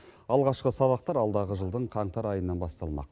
алғашқы сабақтар алдағы жылдың қаңтар айынан басталмақ